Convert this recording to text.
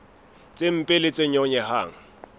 tse mpe le tse nyonyehang